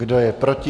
Kdo je proti?